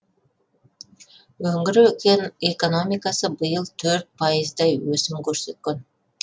өңір кең экономикасы биыл төрт пайыздай өсім көрсеткен